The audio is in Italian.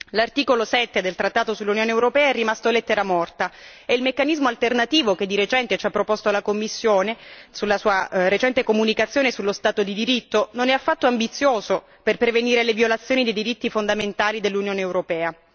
L'articolo 7 del trattato sull'Unione europea è rimasto lettera morta e il meccanismo alternativo, che ci ha proposto la Commissione nella sua recente comunicazione sullo Stato di diritto, non è affatto ambizioso per prevenire le violazioni dei diritti fondamentali dell'Union europea.